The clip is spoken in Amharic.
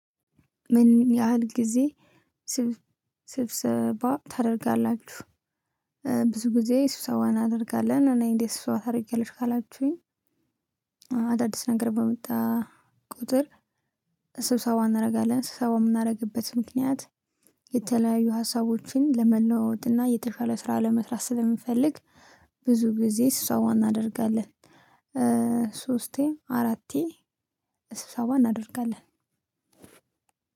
ምን ያህል ጊዜ ስብሰባ ታደርጋላችሁ? ብዙ ጊዜ ስብሰባ አናደርጋለን እኔ እንዴት ስብሰባ ታረጊያለሽ ካላችሁኝ። አዳዲስ ነገር በመጣ ቁጥር ስብሰባ እናረጋለን ስብሰባ እምናረግበት ምክንያት። የተለያዩ ሀሳቦችን ለመለዋወጥ እና የተሻለ ስራ ለመስራት ስለምንፈልግ። ብዙ ግዜ ስብሰባ እናደርጋለን። እእእ ሶስቴ አራቴ ስብሰባ እናደርጋለን።